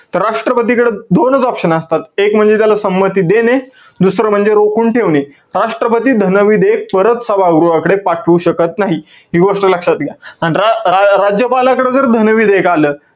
तर राष्ट्रपतीकडं दोनच option असतात. एक म्हणजे त्याला संमती देणे. दुसरं म्हणजे रोखून ठेवणे. राष्ट्रपती धन विधेयक परत सभागृहाकडे पाठवू शकत नाही. हि गोष्ट लक्षात घ्या. अन रा~ रा~ राज्यपालाकडे जर धन विधेयक आलं,